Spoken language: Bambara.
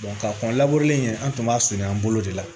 ka kɔn labure an tun b'a sɛnɛ an bolo de la